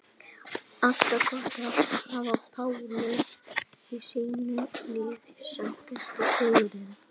Alltaf gott að hafa Pálu í sínu liði Sætasti sigurinn?